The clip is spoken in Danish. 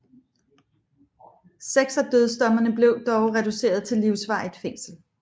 Seks af dødsdommene blev dog reduceret til livsvarigt fængsel